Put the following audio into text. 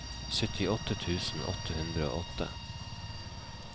syttiåtte tusen åtte hundre og åtte